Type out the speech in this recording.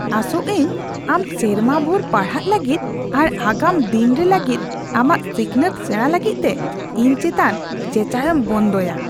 ᱟᱥᱚᱜ ᱟᱹᱧ ᱟᱢ ᱥᱮᱨᱢᱟ ᱵᱷᱩᱨ ᱯᱟᱲᱦᱟᱜ ᱞᱟᱹᱜᱤᱫ ᱟᱨ ᱟᱜᱟᱢ ᱫᱤᱱᱨᱮ ᱞᱟᱹᱜᱤᱫ ᱟᱢᱟᱜ ᱥᱤᱠᱷᱱᱟᱹᱛ ᱥᱮᱲᱟ ᱞᱟᱹᱜᱤᱫᱛᱮ ᱤᱧ ᱪᱮᱛᱟᱱ ᱪᱮᱪᱟᱣᱮᱢ ᱵᱚᱱᱫᱚᱭᱟ ᱾